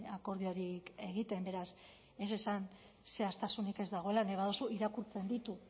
akordiorik egiten beraz ez esan zehaztasunik ez dagoela nahi baduzu irakurtzen dut